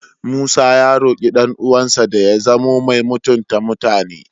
Musa ya roƙi ɗan'uwansa da ya zamo mai mutunta mutane.